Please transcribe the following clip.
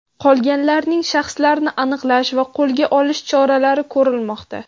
Qolganlarning shaxslarini aniqlash va qo‘lga olish choralari ko‘rilmoqda.